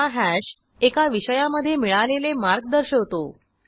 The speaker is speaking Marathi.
हा हॅश एका विषयामधे मिळालेले मार्क दर्शवतो